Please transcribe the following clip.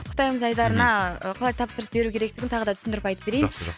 құттықтаймыз айдарына мхм қалай тапсырыс беру керектігін тағы да түсіндіріп айтып берейін жақсы